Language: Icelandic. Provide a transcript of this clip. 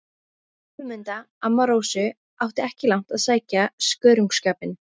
Guðmunda, amma Rósu, átti ekki langt að sækja skörungsskapinn.